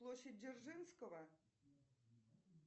площадь дзержинского